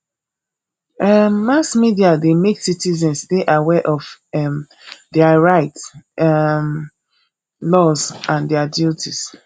um mass media de make citizens de aware of um their rights um laws and their duties